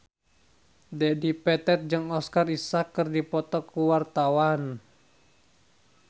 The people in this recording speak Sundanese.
Dedi Petet jeung Oscar Isaac keur dipoto ku wartawan